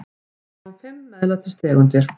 Við sjáum fimm MEÐLÆTIS tegundir.